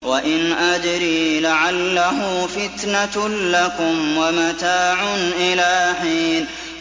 وَإِنْ أَدْرِي لَعَلَّهُ فِتْنَةٌ لَّكُمْ وَمَتَاعٌ إِلَىٰ حِينٍ